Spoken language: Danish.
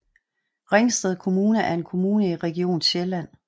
Ringsted Kommune er en kommune i Region Sjælland